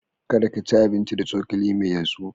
Kada ka ci abinci da cokali mai yatsu.